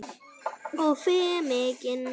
Og fer mikinn.